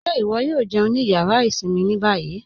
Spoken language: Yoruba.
Ṣé iwọ̀ yóò jẹun ní yàrá ìṣinmí ní bayí?